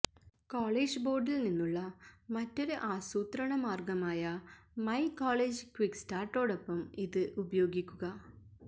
college ബോർഡിൽ നിന്നുള്ള മറ്റൊരു ആസൂത്രണ മാർഗമായ മൈ കോളേജ് ക്യുക്സ്റ്റാർട്ടോടൊപ്പം ഇത് ഉപയോഗിക്കുക